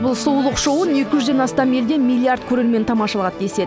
бұл сұлулық шоуын екі жүзден астам елден миллиард көрермен тамашалады деседі